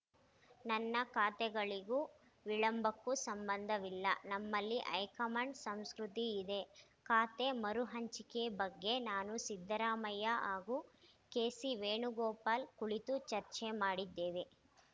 ನನ್ನ ಖಾತೆಗಳಿಗೂ ವಿಳಂಬಕ್ಕೂ ಸಂಬಂಧವಿಲ್ಲ ನಮ್ಮಲ್ಲಿ ಹೈಕಮಾಂಡ್‌ ಸಂಸ್ಕೃತಿ ಇದೆ ಖಾತೆ ಮರು ಹಂಚಿಕೆ ಬಗ್ಗೆ ನಾನು ಸಿದ್ದರಾಮಯ್ಯ ಹಾಗೂ ಕೆಸಿ ವೇಣುಗೋಪಾಲ್‌ ಕುಳಿತು ಚರ್ಚೆ ಮಾಡಿದ್ದೇವೆ